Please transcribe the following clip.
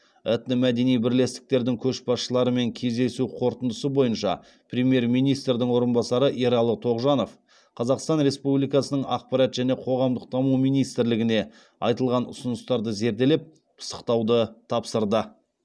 этномәдени бірлестіктердің көшбасшыларымен кездесу қорытындысы бойынша премьер министрдің орынбасары ералы тоғжанов қазақстан республикасының ақпарат және қоғамдық даму министрлігіне айтылған ұсыныстарды зерделеп пысықтауды тапсырды